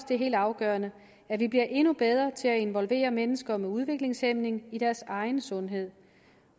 det er helt afgørende at vi bliver endnu bedre til at involvere mennesker med udviklingshæmning i deres egen sundhed